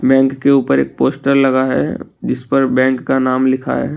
Bank के ऊपर एक पोस्टर लगा है जिस पर बैंक का नाम लिखा है।